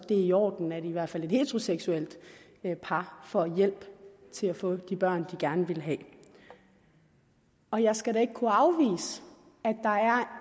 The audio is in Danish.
det er i orden at i hvert fald et heteroseksuelt par får hjælp til at få de børn de gerne vil have og jeg skal da ikke kunne afvise